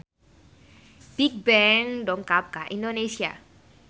Bigbang dongkap ka Indonesia